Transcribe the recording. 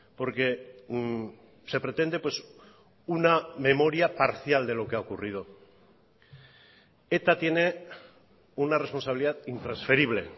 porque se pretende una memoria parcial de lo que ha ocurrido eta tiene una responsabilidad intransferible